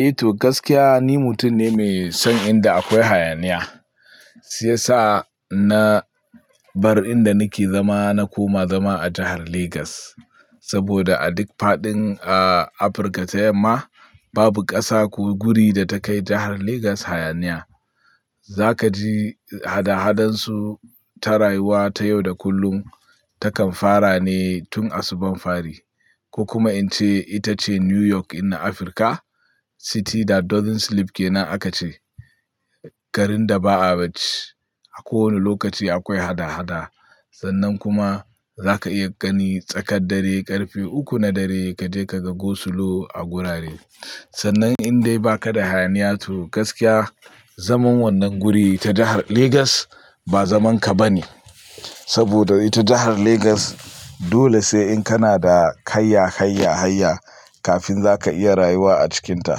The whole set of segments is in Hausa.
Eh to gaskiya ni mutum ne mai son inda akwai hayaniya. Shiya sa na bar inda nake zama na koma zama a jihar Lagos. Saboda a duk faɗin a Afirka ta yamma babu ƙasa ko guri da ta kai jahar Lagos hayaniya. Zaka ji hada hadansu ta rayuwa, ta yau da kullum takan fara ne tun asuban fari. Ko kuma ince ita ce New York in na Afirka. City that doesn't sleep kenan aka ce. Garin da ba a bacci. A kowane lokaci akwai hada hada. Sannan kuma zaka iya gani tsakar dare ƙarfe uku na dare kaje ka ga go slow a wurare. Sannan in dai baka da hayaniya to gaskiya zaman wannan guri ta jihar Lagos ba zaman ka bane. Saboda ita jihar Lagos dole sai in kana da kayya hayya hayya kafin zaka iya rayuwa a cikinta.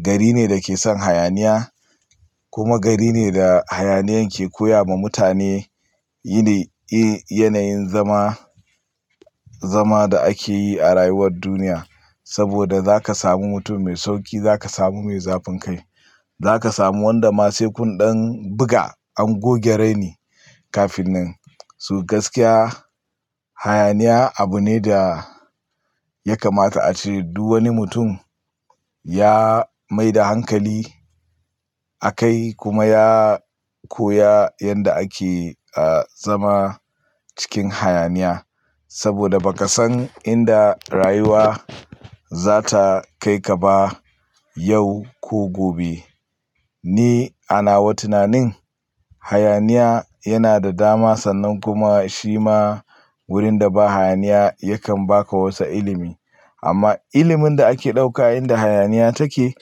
Gari ne da ke son hayaniya kuma gari ne da hayaniyan ke koya ma mutane yi ne, yi yanayin zama, zama da ake yi a rayuwar duniya. Saboda zaka samu mutum mai sauƙi, zaka samu mai zafin kai. Zaka samu wanda ma sai kun ɗan buga an goge raini kafin nan. To gaskiya hayaniya abu ne da ya kamata a ce. Duk wani mutum ya maida hankali a kai kuma ya koya yanda ake a zama cikin hayaniya. Saboda ba ka san inda rayuwa za ta kai ka ba yau ko gobe. Ni a nawa tunanin hayaniya yana da dama sannan kuma shi ma wurin da ba hayaniya yakan baka wasu ilimi. Amma ilimin da ake ɗauka inda hayaniya take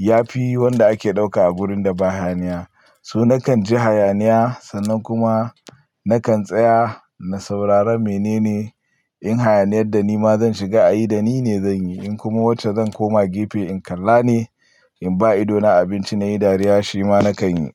ya fi wanda ake ɗauka a wurin da ba hayaniya. So na kan ji hayaniya sannan kuma na kan tsaya na saurara menene in hayaniyar da nima zan shiga ayi da nine zan yi in kuma wacce zan koma gefe in kalla ne in ba ido na abinci nayi dariya shi ma na kan yi.